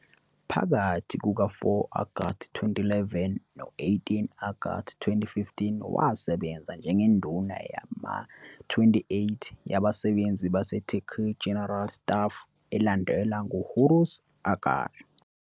Phakathi kuka-4 Agasti 2011 no-18 Agasti 2015, wasebenza njengeNduna yama-28 yabasebenzi baseTurkey General Staff, elandelwa nguHulusi Akar.